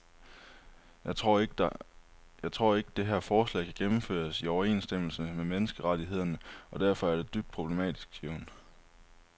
Jeg tror ikke, det her forslag kan gennemføres i overensstemmelse med menneskerettighederne og derfor er det dybt problematisk, siger hun.